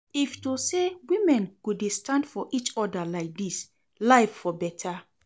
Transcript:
If to say women go dey stand for each other like dis, life for better